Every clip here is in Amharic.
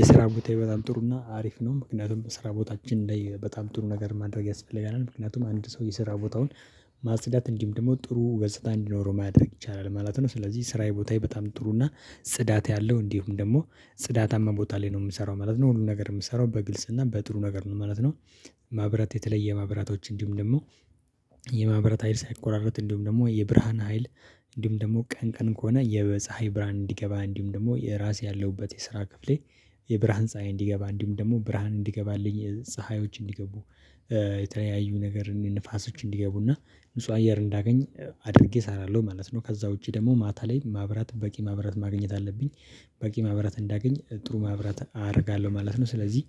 የስራ ቦታየ በጣም ጥሩና አሪፍ ነው ምክንያቱም ስራ ቦታችን ላይ በጣም ጥሩ ነገር ማድረግ ያስፈልጋል ምክንያቱም አንድ ሰው የስራ ቦታውን ማጽዳት እንዲምድመው ጥሩ ገጽታ እንዲኖረው ማድረግ ይቻላል ማለት ነው። ስለዚህ ስራዬ ቦታዬ በጣም ጥሩ እና ጽዳት ያለው እንዲሁም ደግሞ ጽዳታማ ቦታ ላይ ነው የምሰራው ማለት ነው። ሁሉም ነገር የምሰራው በግልጽ እና በጥሩ ነገር ነው ማለት ነው። ማብራት የተለየ ማብራቶች እንዲሁም ደግሞ የማብራት ሀይል ሳይቆራረጥ እንዲሁም ደግሞ የብርሃን ሀይል። እንዲሁም ደግሞ ቀን ቀን ከሆነ የፀሀይ ብርሃን እንዲገባ እንዲሁም ደግሞ የራሴ ያለውበት የስራ ክፍሌ። የብርሃን ፀሀይ እንዲገባ እንዲሁም ደግሞ ብርሃን እንዲገባልኝ ፀሀዮች እንዲገቡ የተለያዩ ነገር ንፋሶች እንዲገቡና ንጹህ አየር እንዳገኝ አድርጌ እሰራለሁ ማለት ነው። ከዛ ውጪ ደግሞ ማታ ላይ ማብራት በቂ ማብራት ማግኘት አለብኝ። በቂ ማብራት እንዳገኝ ጥሩ ማብራት አደርጋለሁ ማለት ነው። ስለዚህ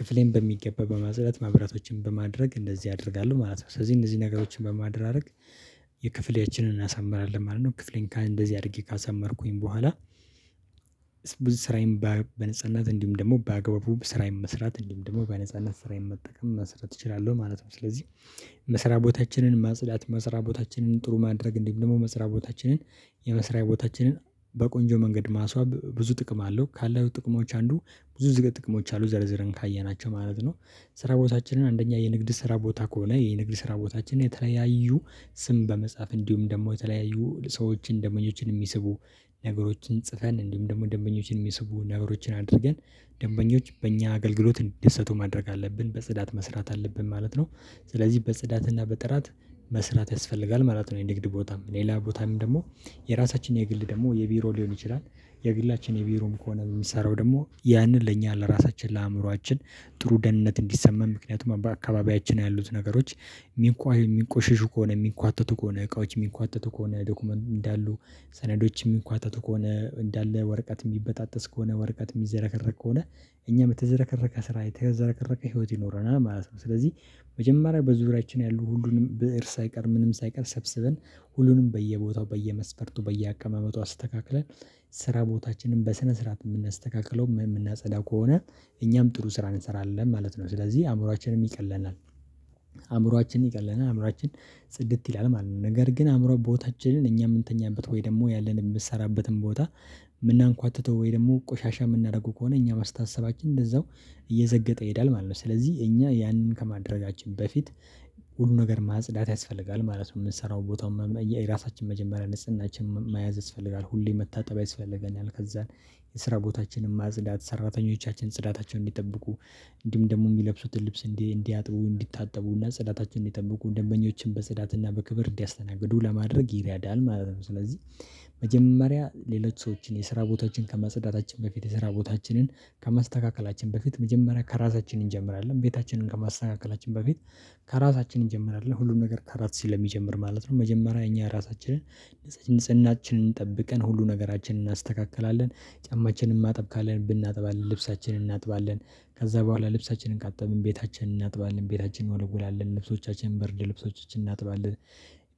ክፍሌን በሚገባ በማዘለት ማብራቶችን በማድረግ እንደዚህ አደርጋለሁ ማለት ነው። ስለዚህ እነዚህ ነገሮችን በማድራረግ የክፍሌያችንን እናሳምራለን ማለት ነው። ክፍሌን እንደዚህ አድርጌ ካሳመርኩኝ በኋላ ብዙ ስራዬን በነጻነት እንዲሁም ደግሞ በአግባቡ ስራዬን መስራት እንዲሁም ደግሞ በነጻነት ስራዬን መጠቀም መስራት እችላለሁ ማለት ነው። ስለዚህ መስራ ቦታችንን ማጽዳት መስራ ቦታችንን ጥሩ ማድረግ እንዲሁም ደግሞ መስሪያ ቦታችንን። የመስሪያ ቦታችንን በቆንጆ መንገድ ማስዋብ ብዙ ጥቅም አለው ካለው ጥቅሞች አንዱ ብዙ ዝገት ጥቅሞች አሉ ዘርዝረን ካየናቸው ማለት ነው። ስራ ቦታችንን አንደኛ የንግድ ስራ ቦታ ከሆነ የንግድ ስራ ቦታችን የተለያዩ ስም በመጻፍ እንዲሁም ደግሞ የተለያዩ ሰዎችን ደመኞችን የሚስቡ ነገሮችን ጽፈን እንዲሁም ደግሞ ደምበኞችን የሚስቡ ነገሮችን አድርገን ደንበኞች በእኛ አገልግሎት እንዲደሰቱ ማድረግ አለብን በጽዳት መስራት አለብን ማለት ነው። ስለዚህ በጽዳትና በጥራት መስራት ያስፈልጋል መራት ነው የንግድ ቦታም ሌላ ቦታም ደግሞ የራሳችን የግል ደግሞ የቢሮ ሊሆን ይችላል። የግላችን የቢሮም ከሆነ የሚሰራው ደግሞ ያንን ለእኛ ለራሳችን ለአእምሮአችን ጥሩ ደህንነት እንዲሰማን ምክንያቱም በአካባቢያችን ያሉት ነገሮች የሚንቋይ የሚንቆሽሹ ከሆነ የሚንኳተቱ ከሆነ እቃዎች የሚኳተቱ ከሆነ ዶክመንት እንዳሉ ሰነዶች የሚኳተቱ ከሆነ እንዳለ ወረቀት የሚበጣጥስ ከሆነ ወረቀት የሚዘረከረክ ከሆነ እኛ የምትዘረከረከ ስራ የተዘረከረከ ህይወት ይኖረናል ማለት ነው። ስለዚህ መጀመሪያ በዙሪያችን ያሉ ሁሉንም ብእር ሳይቀር ምንም ሳይቀር ሰብስበን ሁሉንም በየቦታው በየመስፈርቱ በየአቀማመጡ አስተካክለን ስራ ቦታችንን በስነ ስርዓት የምናስተካክለው የምናጸዳ ከሆነ እኛም ጥሩ ስራ እንሰራለን ማለት ነው። ስለዚህ አእምሮአችንም ይቀለናል አእምሮአችንም ይቀለናል አእምሮአችን ጽድት ይላል ማለት ነው። ነገር ግን አእምሮ ቦታችንን እኛ የምንተኛበት ወይ ደግሞ ያለን የምንሰራበትን ቦታ ምናንኳትቶ ወይ ደግሞ ቆሻሻ የምናደርገው ከሆነ እኛም አስታሰባችን እንደዛው እየዘገጠ ይሄዳል ማለት ነው። ስለዚህ እኛ ያንን ከማደረጋችን በፊት ሁሉ ነገር ማጽዳት ያስፈልጋል ማለት ነው። የምንሰራው ቦታው የራሳችን መጀመሪያ ንጽህናችን መያዝ ያስፈልጋል ሁሌ መታጠቢያ ያስፈልገናል ከዛን የስራ ቦታችንን ማጽዳት ሰራተኞቻችን ጽዳታቸውን እንዲጠብቁ እንዲሁም ደግሞ የሚለብሱትን ልብስ እንዲያጥቡ እንዲታጠቡና ፅዳታችንን የጠበቁ ደንበኞችን በጸዳትና በክብር እንዲያስተናግዱ ለማድረግ ይረዳል ማለት ነው። ስለዚህ መጀመሪያ ሌሎች ሰዎችን የስራ ቦታችን ከመጸዳታችን በፊት የስራ ቦታችንን ከማስተካከላችን በፊት መጀመሪያ ከራሳችን እንጀምራለን ቤታችንን ከማስተካከላችን በፊት ከራሳችን እንጀምራለን ሁሉን ነገር ከራስ ስለሚጀምር ማለት ነው። መጀመሪያ እኛ ራሳችንን ንጽህናችንን ጠብቀን ሁሉ ነገራችንን እናስተካክላለን። ጫማችንን ማጠብ ካለን ብናጥባለን ልብሳችንን እናጥባለን ከዛ በኋላ ልብሳችንን ካጠብን ቤታችንን እናጥባለን ቤታችንን እንወለውላን ልብሶቻችንን ብርድ ልብሶችን እናጥባለን።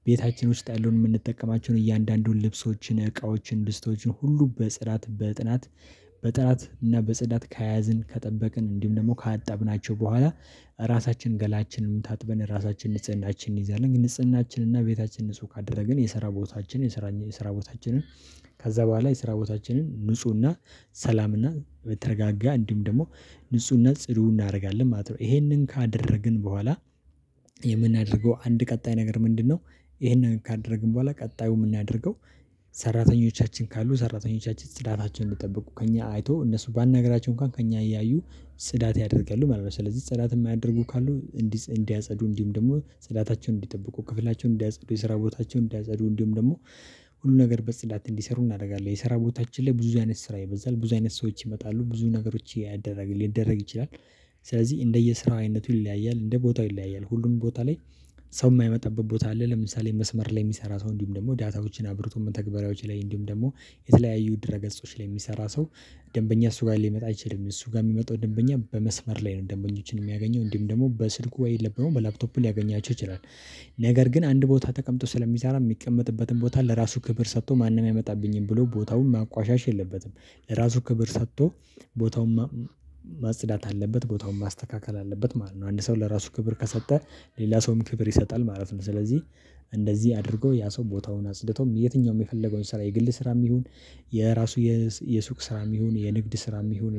ቤታችን ውስጥ ያለውን የምንጠቀማቸውን እያንዳንዱን ልብሶችን እቃዎችን ድስቶችን ሁሉ በጽዳት በጥናት እና በፅዳት ከያዝን ከጠበቅን እንዲሁም ደግሞ ካጣብናቸው በኋላ ራሳችን ገላችንን ታጥበን ራሳችን ንጽህናችንን እንይዛለን ንጽህናችን እና ቤታችን ንጹህ ካደረግን የሰራ ቦታችን የሰራ የሰራ ቦታችንን ከዛ በኋላ የስራ ቦታችንን ንፁህና ሰላምና በተረጋጋ እንዲሁም ደግሞ ንፁህና ጽዱ እናደርጋለን ማለት ነው። ይሄንን ካደረግን በኋላ የምናደርገው አንድ ቀጣይ ነገር ምንድነው? ይህንን ካደረግን በኋላ ቀጣዩ የምናደርገው ሰራተኞቻችን ካሉ ሰራተኞቻችን ጽዳታቸውን እንድጠበቁ ከእኛ አይቶ እነሱ ባናግራቸው እንኳን ከእኛ እያዩ ጽዳት ያደርጋሉ ማለት ነው። ስለዚህ ስዳት የማያደርጉ ካሉ እንዲህ እንዲያጸዱ እንዲህም ደግሞ ጽዳታቸውን እንዲጠብቁ ክፍላቸውን እንዲያጸዱ የሰራ ቦታቸውን እንዲያጸዱ እንዲህም ደግሞ ሁሉ ነገር በጽዳት እንዲሰሩ እናደርጋለን የሰራ ቦታችን ላይ ብዙ አይነት ስራ ይበዛል ብዙ አይነት ሰዎች ይመጣሉ ብዙ ነገሮች ያደረግልን ሊደረግ ይችላል። ስለዚህ እንደየ ስራው አይነቱ ይለያያል እንደ ቦታው ይለያያል ሁሉም ቦታ ላይ። ሰው የማይመጣበት ቦታ አለ ለምሳሌ መስመር ላይ የሚሰራ ሰው እንዲሁም ደግሞ ዳታዎችን አብርቶ ተግባራዊ ላይ እንዲሁም ደግሞ የተለያዩ ድረ ገጾች ላይ የሚሰራ ሰው። ደንበኛ እሱ ጋር ሊመጣ አይችልም እሱ ጋር የሚመጣው ደንበኛ በመስመር ላይ ነው ደንበኞችን የሚያገኘው እንዲሁም ደግሞ በስልኩ ወይ የለብንም በላፕቶፕ ሊያገኛቸው ይችላል። ነገር ግን አንድ ቦታ ተቀምጦ ስለሚሰራ የሚቀመጥበትን ቦታ ለራሱ ክብር ሰጥቶ ማንም አይመጣብኝም ብሎ ቦታውን ማቆሸሽ የለበትም። ለራሱ ክብር ሰጥቶ ቦታውን ማጽዳት አለበት ቦታውን ማስተካከል አለበት ማለት ነው። አንድ ሰው ለራሱ ክብር ከሰጠ ሌላ ሰውም ክብር ይሰጣል ማለት ነው። ስለዚህ እንደዚህ አድርጎ ያ ሰው ቦታውን አጽድቶም የትኛውም የፈለገውን ስራ የግል ስራም ይሁን የራሱ የሱቅ ስራ ይሁን የንግድ ስራ ይሁን